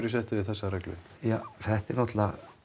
settuð þið þessa reglu ja þetta er náttúrulega